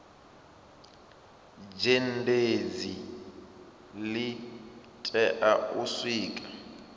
zhenedzi li tea u sikwa